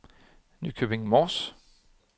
Nykøbing Mors